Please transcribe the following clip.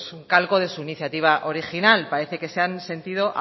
un calco de su iniciativa original parece que se han sentido